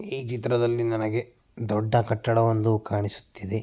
ಈ ಚಿತ್ರದಲ್ಲಿ ನನಗೆ ದೊಡ್ಡ ಕಟ್ಟಡವೊಂದು ಕಾಣಿಸುತ್ತಿದೆ.